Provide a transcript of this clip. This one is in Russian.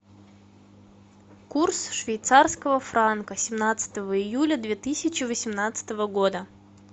курс швейцарского франка семнадцатого июля две тысячи восемнадцатого года